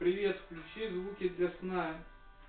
для сна